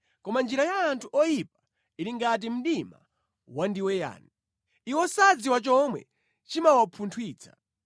Koma njira ya anthu oyipa ili ngati mdima wandiweyani; iwo sadziwa chomwe chimawapunthwitsa.